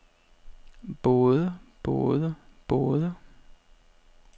både både både